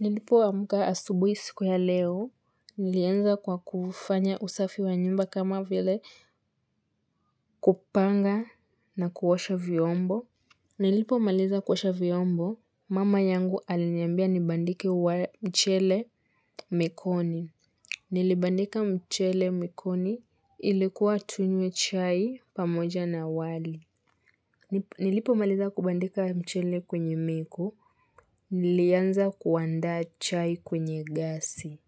Nilipoamuka asubui siku ya leo, nilianza kwa kufanya usafi wa nyumba kama vile kupanga na kuosha vyombo. Nilipomaliza kuosha vyombo, mama yangu aliniambia nibandike wa mchele mekoni. Nilibandika mchele mekoni ilikuwa tunywe chai pamoja na wali. Nilipomaliza kubandika mchele kwenye meko, nilianza kuandaa chai kwenye gasi.